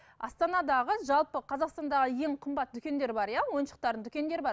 астанадағы жалпы қазақстандағы ең қымбат дүкендер бар иә ойыншықтардың дүкендер бар